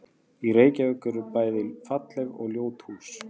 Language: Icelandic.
Í Reykjavík eru bæði falleg og ljót hús.